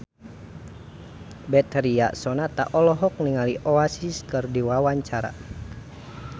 Betharia Sonata olohok ningali Oasis keur diwawancara